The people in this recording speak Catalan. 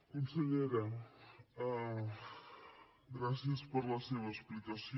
consellera gràcies per la seva explicació